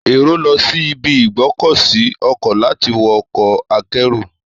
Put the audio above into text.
Èrò lọ sí ibi ìgbọ́kọ̀sí ọkọ̀ láti wọ ọkọ̀ akẹ́rù.